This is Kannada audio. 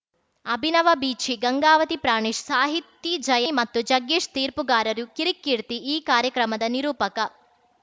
ಅಭಿನವ ಬೀಚಿ ಗಂಗಾವತಿ ಪ್ರಾಣೇಶ್‌ ಸಾಹಿತಿ ಜಯ್ ಮತ್ತು ಜಗ್ಗೇಶ್‌ ತೀರ್ಪುಗಾರರು ಕಿರಿಕ್‌ ಕೀರ್ತಿ ಈ ಕಾರ್ಯಕ್ರಮದ ನಿರೂಪಕ